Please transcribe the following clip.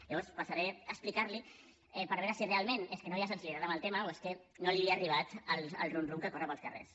llavors passaré a explicar los hi per veure si realment és que no hi ha sensibilitat amb el tema o és que no li ha arribat el rum rum que corre pels carrers